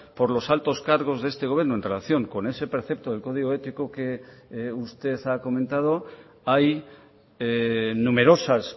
por los altos cargos de este gobierno en relación con ese precepto del código ético que usted ha comentado hay numerosas